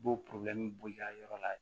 U b'o b'i ka yɔrɔ la yen